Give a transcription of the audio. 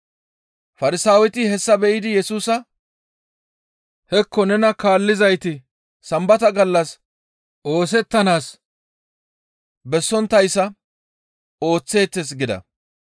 Farsaaweti hessa be7idi Yesusa, «Hekko nena kaallizayti Sambata gallas oosettanaas bessonttayssa ooththeettes» gida.